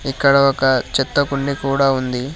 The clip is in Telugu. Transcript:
ఇక్కడ ఒక చెత్త కుండి కూడ ఉంది.